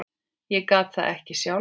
Ég gat það ekki sjálf.